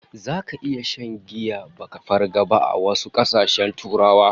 Zaka iya shan giya baka farga ba a wasu kasashen Turawa